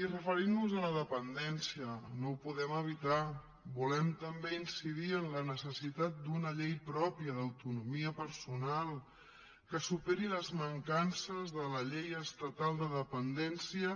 i referint nos a la dependència no ho podem evitar volem també incidir en la necessitat d’una llei pròpia d’autonomia personal que superi les mancances de la llei estatal de dependència